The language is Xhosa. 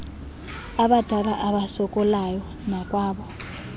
abadala abasokolayo nakwabo